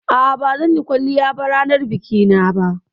A'a, ba zan yi kwalliya ranar biki na ba